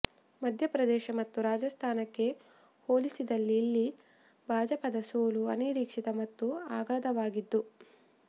ಮಧ್ಯಪ್ರದೇಶ ಮತ್ತು ರಾಜಸ್ಥಾನಕ್ಕೆ ಹೋಲಿಸಿದಲ್ಲಿ ಇಲ್ಲಿ ಭಾಜಪದ ಸೋಲು ಅನಿರೀಕ್ಷಿತ ಮತ್ತು ಅಗಾಧವಾದದ್ದು